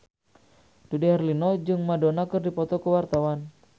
Dude Herlino jeung Madonna keur dipoto ku wartawan